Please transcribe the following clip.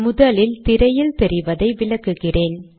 முதலில் திரையில் தெரிவதை விளக்குகிறேன்